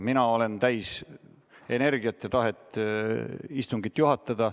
Mina olen täis energiat ja tahet istungit juhatada.